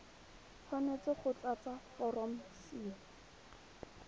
tshwanetse go tlatsa foromo c